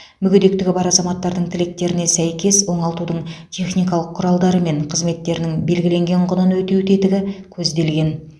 мүгедектігі бар азаматтардың тілектеріне сәйкес оңалтудың техникалық құралдары мен қызметтерінің белгіленген құнын өтеу тетігі көзделген